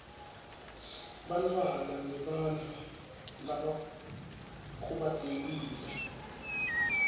bantfwana nebantfu labakhubatekile